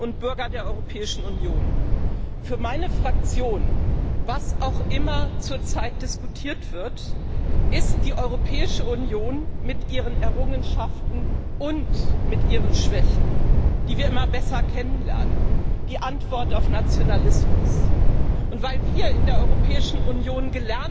Herr Präsident, sehr geehrte Bürgerinnen und Bürger der Europäischen Union! Für meine Fraktion was auch immer zurzeit diskutiert wird ist die Europäische Union mit ihren Errungenschaften und mit ihren Schwächen, die wir immer besser kennenlernen, die Antwort auf Nationalismus. Und weil wir in der Europäischen Union